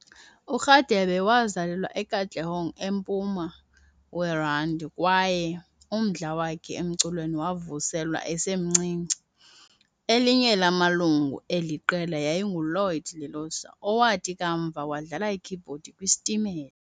URadebe wazalelwa eKatlehong eMpuma weRandi kwaye umdla wakhe emculweni wavuselwa esemncinci. Elinye lamalungu eli qela yayinguLloyd Lelosa, owathi kamva wadlala ikhibhodi kwiStimela.